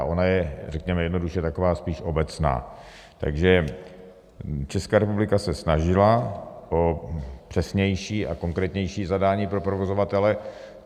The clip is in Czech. A ona je řekněme jednoduše taková spíš obecná, takže Česká republika se snažila o přesnější a konkrétnější zadání pro provozovatele.